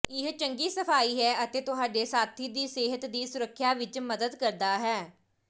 ਇਹ ਚੰਗੀ ਸਫਾਈ ਹੈ ਅਤੇ ਤੁਹਾਡੇ ਸਾਥੀ ਦੀ ਸਿਹਤ ਦੀ ਸੁਰੱਖਿਆ ਵਿੱਚ ਮਦਦ ਕਰਦਾ ਹੈ